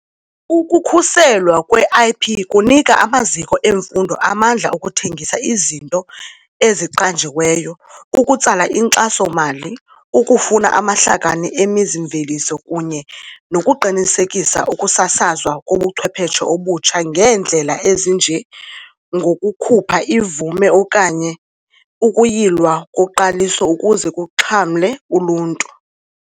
Ukukhuselwa kwe-IP kunika amaziko emfundo amandla okuthengisa izinto eziqanjiweyo, ukutsala inkxaso-mali, ukufuna amahlakani emizi-mveliso kunye nokuqinisekisa ukusasazwa kobuchwepheshe obutsha ngeendlela ezinjengokukhupha ivume okanye ukuyilwa koqaliso ukuze kuxhamle uluntu.